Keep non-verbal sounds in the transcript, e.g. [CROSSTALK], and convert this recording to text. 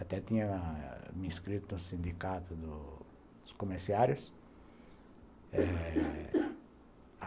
Até tinha me inscrito no sindicato do dos comerciários [COUGHS]